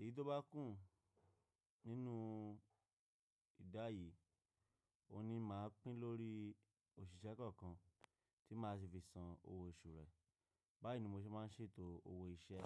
Èyí tó bá kù nínú ìdá yìí, òun ni màá pín lórí òṣìṣẹ́ kọ̀ọ̀kan tí màá sì fi san owó oṣù rẹ̀. Báyìí ni mo ṣe máa ń ṣètò owó iṣẹ́.